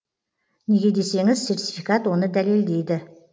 неге десеңіз сертификат оны дәлелдейді